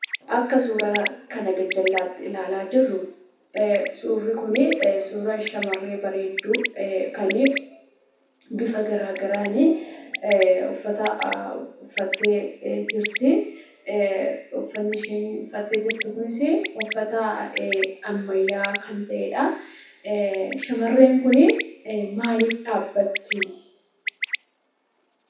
Akka suuraa kana gar-jallaatti ilaalaa jirru, suurri Kunii, suura shamarree bareedduu kan bifa garaagaraanii uffata uffattee jirtii. Uffanni isheen uffattee jirtu kunis uffata ammayyawaa kan ta'edhaa. Shamarreen Kunii maaliif dhaabbattee?